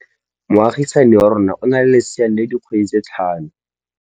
Moagisane wa rona o na le lesea la dikgwedi tse tlhano.